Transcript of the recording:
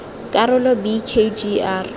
karolo b k g r